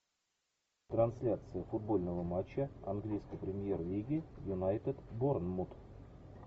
трансляция футбольного матча английской премьер лиги юнайтед борнмут